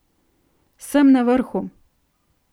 Sem na vrhu.